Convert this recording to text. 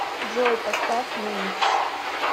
джой поставь нэнгс